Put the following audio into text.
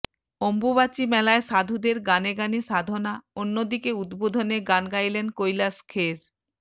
অম্বুবাচী মেলায় সাধুদের গানে গানে সাধনা অন্যদিকে উদ্বোধনে গান গাইলেন কৈলাশ খের